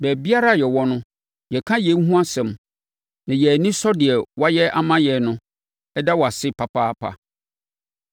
Baabiara a yɛwɔ no, yɛka yei ho asɛm na yɛn ani sɔ deɛ woayɛ ama yɛn no da wo ase papaapa.